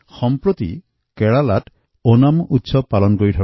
এই উপলক্ষে প্ৰত্যেক দেশবাসীক গণেশ উৎসৱৰ বহুত বহুত শুভকামনা জনালোঁ